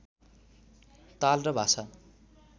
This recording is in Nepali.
ताल र भाषा